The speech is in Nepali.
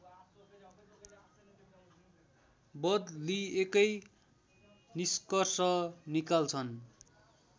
बदलिएकै निष्कर्ष निकाल्छन्